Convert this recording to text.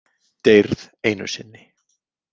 Deyrð einu sinni.